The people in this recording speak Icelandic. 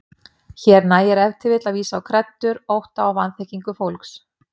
Hér nægir ef til vill að vísa á kreddur, ótta og vanþekkingu fólks.